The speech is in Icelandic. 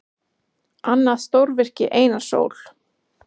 Annað stórvirki Einars Ól.